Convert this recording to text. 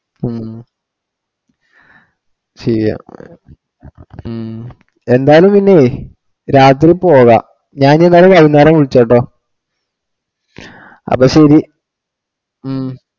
ഉം ശരിയാ കുറെ ഉം എന്തായാലും പിന്നെ രാത്രി പോകാം ഞാൻ ഈനേരം വൈകുന്നേരം വിളിച്ചു നോക്കാം അപ്പൊ ശരി ഉം